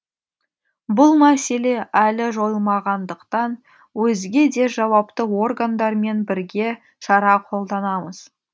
бұл мәселе әлі жойылмағандықтан өзге де жауапты органдармен бірге шара қолданамыз